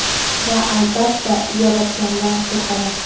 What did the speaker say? Va, albatta, Yaratgandan qo‘rqaman.